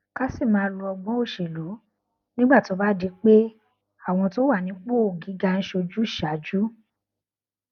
ká sì máa lo ọgbón ìṣèlú nígbà tó bá di pé àwọn tó wà nípò gíga ń ṣe ojúsàájú